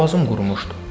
Boğazım qurumuşdu.